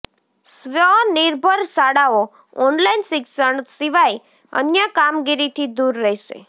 સ્વનિર્ભર શાળાઓ ઓનલાઈન શિક્ષણ સિવાય અન્ય કામગીરીથી દૂર રહેશે